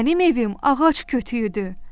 Mənim evim ağac kütüyüdür.